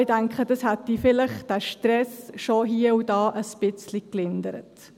Ja, ich denke, das hätte vielleicht diesen Stress schon hie und da ein bisschen gelindert.